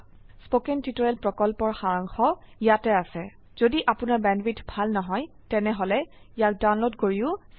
1 কথন শিক্ষণ প্ৰকল্পৰ সাৰাংশ ইয়াত আছে যদি আপোনাৰ বেণ্ডৱিডথ ভাল নহয় তেনেহলে ইয়াক ডাউনলোড কৰি চাব পাৰে